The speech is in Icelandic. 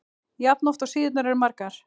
jafn oft og síðurnar eru margar.